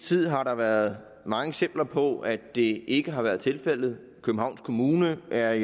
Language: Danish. tid har der været mange eksempler på at det ikke har været tilfældet københavns kommune er